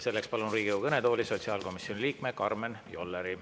Selleks palun Riigikogu kõnetooli sotsiaalkomisjoni liikme Karmen Jolleri.